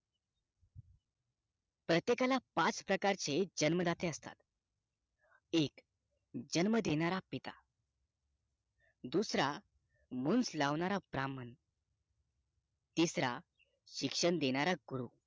प्रत्येकाला पाच प्रकारचे जन्म दाते असतात एक जन्म देणार पिता दुसरा मुझ लावणारा ब्राह्मण तिसरा शिक्षण देणारा गुरु